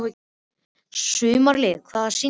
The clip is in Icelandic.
Sumarliði, hvaða sýningar eru í leikhúsinu á mánudaginn?